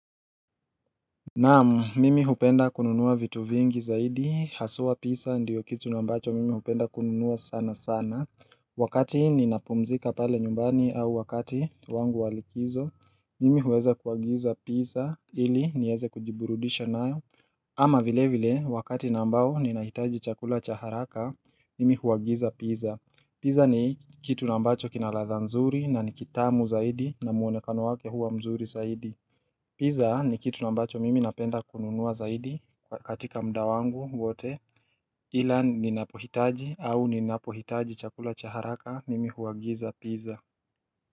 Naamu, mimi hupenda kununuwa vitu vingi zaidi, haswa pizza ndiyo kitu na ambacho mimi hupenda kununua sana sana Wakati ninapumzika pale nyumbani au wakati wangu wa likizo, mimi huweza kuagiza pizza ili nieze kujiburudisha nayo ama vile vile, wakati na ambao ninahitaji chakula cha haraka, mimi huagiza pizza Pizza ni kitu na ambacho kina ladha mzuri na ni kitamu zaidi na muonekano wake huwa mzuri zaidi Pizza ni kitu na ambacho mimi napenda kununua zaidi katika muda wangu wote ila ninapohitaji au ninapohitaji chakula cha haraka mimi huagiza pizza.